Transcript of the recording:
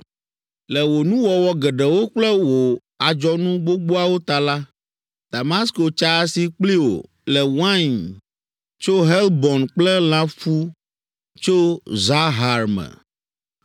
“Le wò nuwɔwɔ geɖewo kple wò adzɔnu gbogboawo ta la, Damasko tsa asi kpli wò le wain tso Helbon kple lãfu tso Zahar me.